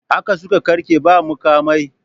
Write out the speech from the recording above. Haka suka ƙarke ba muƙamai.